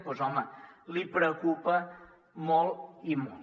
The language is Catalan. doncs home li preocupa molt i molt